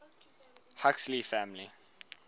huxley family